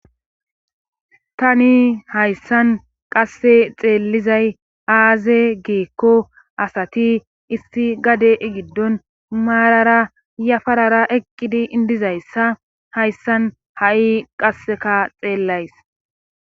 Tani hayssan qasse xeellizay aaze geekko asati issi gade giddon maarara yafarara eqqidi indizayssa hayssan ha'i qasseka xeellays.